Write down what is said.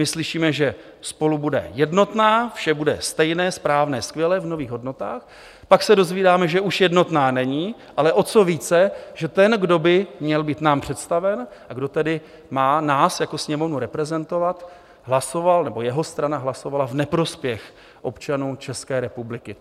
My slyšíme, že SPOLU bude jednotná, vše bude stejné, správné, skvělé, v nových hodnotách, pak se dozvídáme, že už jednotná není, ale o co více, že ten, kdo by nám měl být představen a kdo tedy má nás jako Sněmovnu reprezentovat, hlasoval nebo jeho strana hlasovala v neprospěch občanů České republiky.